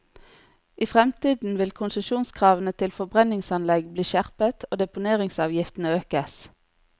I fremtiden vil konsesjonskravene til forbrenningsanlegg bli skjerpet, og deponeringsavgiftene økes.